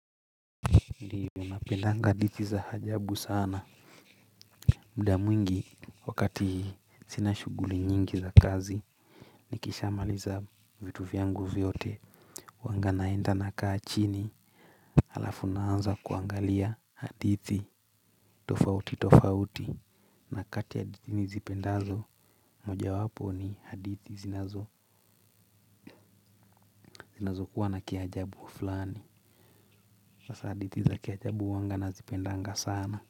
Ndio ninapendanga hadithi za ajabu sana. Mda mwingi wakati sina shuguli nyingi za kazi. Nikishamaliza vitu vyangu vyote huaga naenda nakaa chini. Halafu naanza kuangalia hadithi tofauti tofauti. Na kati ya hadithi nizipendazo moja wapo ni hadithi zinazo zinazokuwa na kiajabu wa fulani hasa hadithi za kiajabu huaga na zipendaga sana.